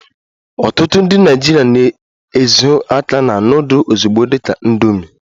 Ọtụtụ ndị Naịjirịa na-ezo aka na nudul ozugbo dị ka "indomi"